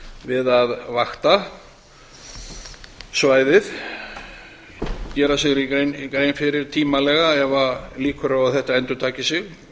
við að vakta svæðið gera sér grein fyrir tímanlega ef líkur eru á að þetta endurtaki sig